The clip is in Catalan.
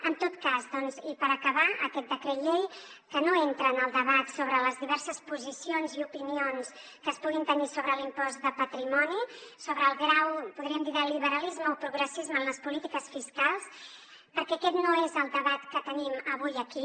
en tot cas i per acabar aquest decret llei que no entra en el debat sobre les diverses posicions i opinions que es puguin tenir sobre l’impost de patrimoni sobre el grau podríem dir de liberalisme o progressisme en les polítiques fiscals perquè aquest no és el debat que tenim avui aquí